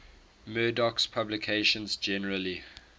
murdoch's publications generally